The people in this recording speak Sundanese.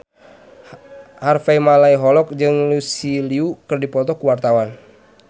Harvey Malaiholo jeung Lucy Liu keur dipoto ku wartawan